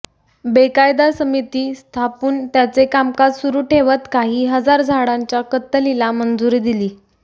बेकायदा समिती स्थापून त्याचे कामकाज सुरू ठेवत काही हजार झाडांच्या कत्तलीला मंजुरी दिली